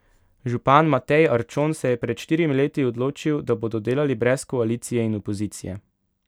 Župan Matej Arčon se je pred štirimi leti odločil, da bodo delali brez koalicije in opozicije.